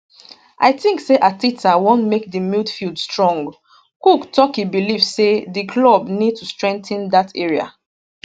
i tink say arteta wan make di midfield strong cook tok e believe say di club need to strengthen dat area